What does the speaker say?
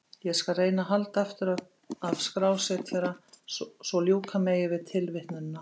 Ég skal reyna að halda aftur af skrásetjara svo ljúka megi við tilvitnunina.